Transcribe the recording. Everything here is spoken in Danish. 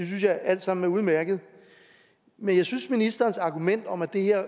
synes jeg alt sammen er udmærket men jeg synes at ministerens argument om at det her